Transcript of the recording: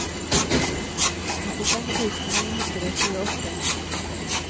åttifem tusen ni hundre og tjueåtte